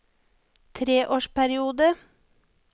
treårsperiode